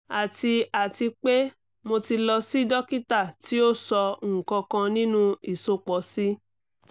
ati ati pe mo ti lọ si dokita ti o sọ nkankan ninu isopọ si